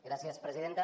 gràcies presidenta